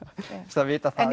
það vita það